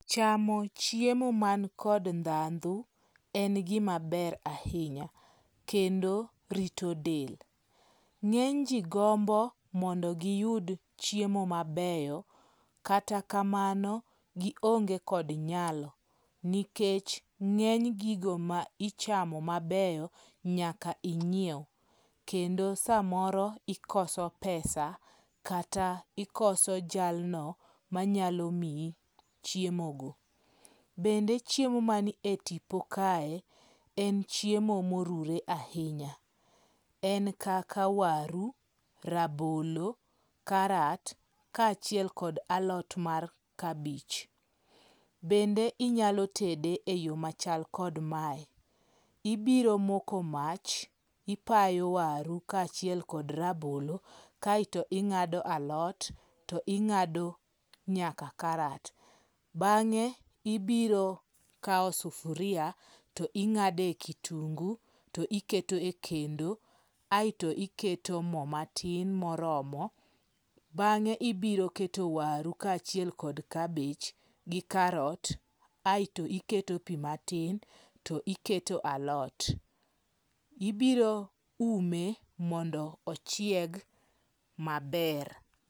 Chamo chiemo mankod ndhandhu en gimaber ahinya, kendo rito del. Ng'eny ji gombo mondo giyud chiemo mabeyo kata kamano, gionge kod nyalo. Nikech ng'eny gigo ma ichamo mabeyo, nyaka inyiew. Kendo samoro ikoso pesa kata ikoso jalno manyalo miyi chiemo go. Bende chiemo man e tipo kae, en chiemo moruwre ahinya. En kaka waru, rabolo, karat kaachiek kod alot mar kabich. Bende inyalo tede eyo machal kod mae. Ibiro moko mach, ipayo waru kaachiel kod rabolo kaeto ing'ado alot to ing'ado nyaka karat. Bang'e ibiro kawo sufuria, to ing'ade kitungu, to iketo e kendo aeto iketo mo matin moromo. Bang'e ibiro keto waru kaachiel kod kabich gi karot, aeto iketo pi matin to iketo alot. Ibiro ume mondo ochieg maber.